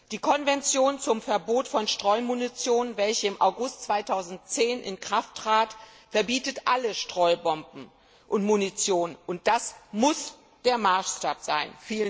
Die Konvention zum Verbot von Streumunition, welche im August 2010 in Kraft trat, verbietet alle Streubomben und munition, und das muss der Maßstab sein!